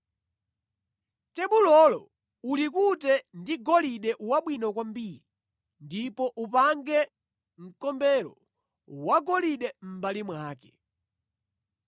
Tebulolo ulikute ndi golide wabwino kwambiri ndipo upange mkombero wagolide mʼmbali mwake.